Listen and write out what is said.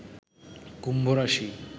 কুম্ভরাশি